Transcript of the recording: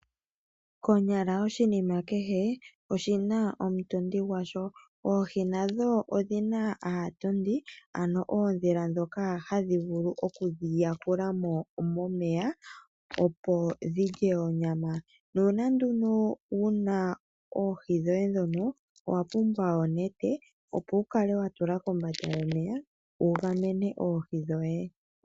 Konyala oshinima kehe oshina omutondi gwasho, oohi nadho odhina aatondi ano odhila dhoka hadhi vulu oku dhiyakulamo momeya opo dhilye onyama. Nuuna nduno wuna oohi dhoye dhono, owa pumbwa onete opo wukale watula kombanda yomeya wugamene oohi dhoye.